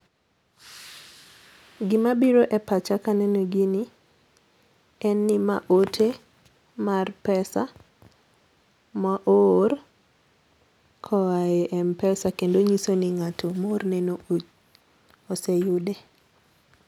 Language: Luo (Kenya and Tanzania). Gima biro e pacha ka aneno gini en ni ma ote mar pesa ma oor ko oaye Mpesa kendo nyiso ni ng'ato ma oor ne oseyude.